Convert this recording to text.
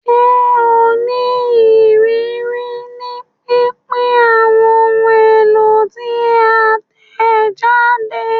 Ṣe o ni iriri ni pinpin awọn ohun elo ti a tẹjade?